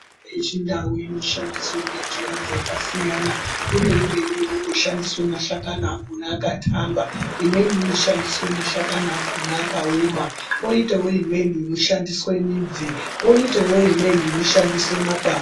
...yechindau inoshandiswe ngenjira dzakasiyana. Kune imweni inongoshandiswe mashakani akhona akathamba, imweni inoshandiswe mashakani akhona akaoma, kwoitawo imweni inoshandiswe midzi, kwoitawo imweni inoshandiswe makwati....